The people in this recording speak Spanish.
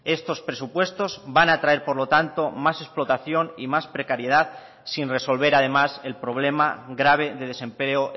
estos presupuestos van a traer por lo tanto más explotación y más precariedad sin resolver además el problema grave de desempleo